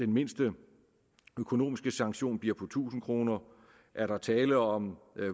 mindste økonomiske sanktion bliver på tusind kroner er der tale om